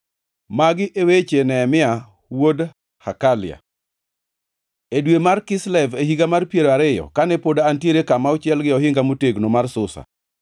Magi e weche Nehemia wuod Hakalia: E dwe mar Kislev e higa mar piero ariyo, kane pod antiere kama ochiel gi ohinga motegno mar Susa,